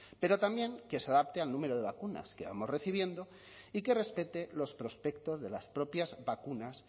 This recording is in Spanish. pero también que se adapte al número de vacunas que vamos recibiendo y que respete los prospectos de las propias vacunas